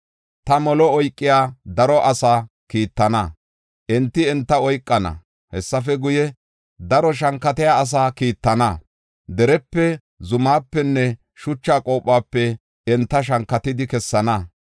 “Ta molo oykiya daro asaa kiittana; enti enta oykana. Hessafe guye, daro shankatiya asaa kiittana; derepe, zumapenne shucha qophope enta shankatidi kessana.